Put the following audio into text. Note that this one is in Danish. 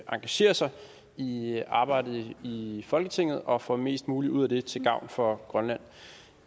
engagerer sig i arbejdet i folketinget og får mest muligt ud af det til gavn for grønland